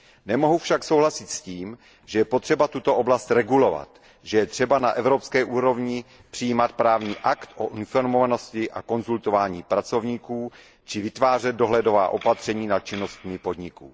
Nemohu však souhlasit s tím, že je potřeba tuto oblast regulovat, že je třeba na evropské úrovni přijímat právní akt o informovanosti a konzultování pracovníků či vytvářet dohledová opatření nad činnostmi podniků.